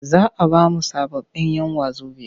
Za a ba mu sababbin'yan wazobiya.